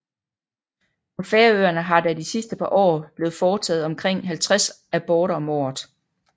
På Færøerne har der de sidste par år blevet foretaget omkring 50 aborter om året